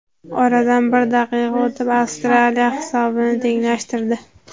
Oradan bir daqiqa o‘tib Avstraliya hisobni tenglashtirdi.